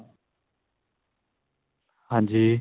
ਹਾਂਜੀ